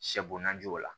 Sɛ bo najo la